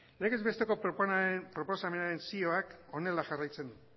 legez besteko proposamenaren zioak honela jarraitzen du